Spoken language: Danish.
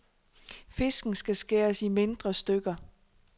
Fisken skal skæres i mindre stykker.